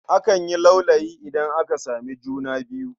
Akan yi laulayi idan aka samu juna biyu..